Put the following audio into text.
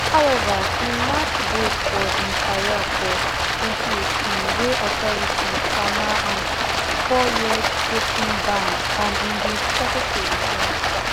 however im match brake for im career for 2018 wen authorities sama am fouryear doping ban and im bin struggle to return